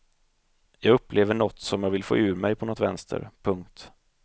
Jag upplever nåt som jag vill få ur mig på nåt vänster. punkt